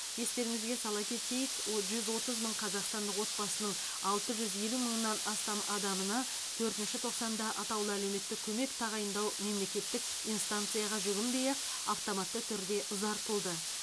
естеріңізге сала кетейік о жүз отыз мың қазақстандық отбасының алты жүз елу мыңнан астам адамына төртінші тоқсанда атаулы әлеуметтік көмек тағайындау мемлекеттік инстанцияға жүгінбей ақ автоматты түрде ұзартылды